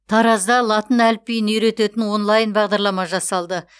таразда латын әліпбиін үйрететін онлайн бағдарлама жасалды